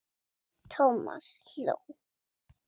Thomas hló.